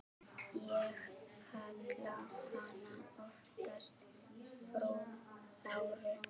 Ég kalla hana oftast frú Láru.